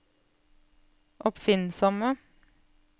oppfinnsomme